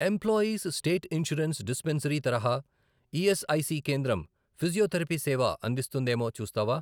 Employees state insurance dispensary తరహా ESIC కేంద్రం physiotherapy సేవ అందిస్తుందేమో చూస్తావా?